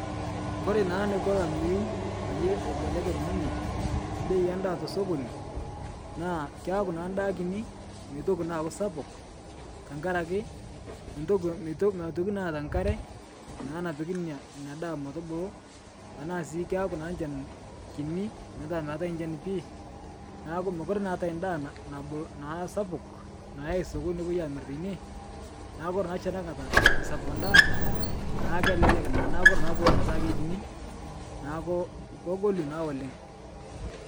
Kore naa neko lameyeu paye eibelekeny ninye beei endaa tesokon, naa keaku naa ndaa kini meitoki naa aaku sapuk, ntakare ake ntoki meto metoki naata nkare naa napiki inn inia daa metubulu, tanaa sii keaku naa nchan kini petaa meatae nchan pii, naaku mokure naa eatae ndaa na na nabulu naa sapuk nayae sokoni nopoi aamir teine, naa kore naashi anakata eisapuk ndaa naa kelelek naa. Naaku kore naa poolo petaa keikini, naaku kogolu naa oleng'.